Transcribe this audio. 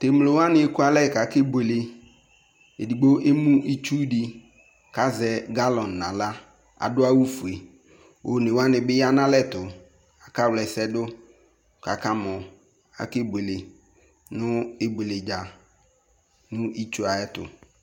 Tɛ mlo wane eku alɛ kake buele Edigbo emu itsu de kazɛ galɔn nala Ado awufue one wane be ya nalɛ tu kaka wla ɛsɛ do kaka mɔ kake uele no ibueledza no itsu ayeto